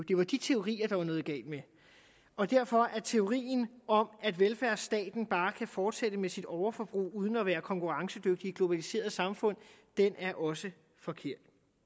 det var de teorier der var noget galt med og derfor er teorien om at velfærdsstaten bare kan fortsætte med sit overforbrug uden at være konkurrencedygtig i et globaliseret samfund også forkert